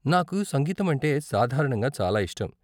నాకు సంగీతం అంటే సాధారణంగా చాలా ఇష్టం.